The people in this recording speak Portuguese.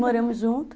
Moramos juntos.